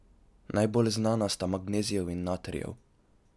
Najbolj znana sta magnezijev in natrijev.